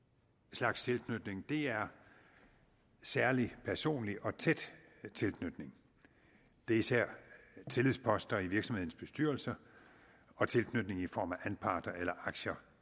slags tilknytning er særlig personlig og tæt tilknytning det er især tillidsposter i virksomhedens bestyrelse og tilknytning i form af anparter eller aktier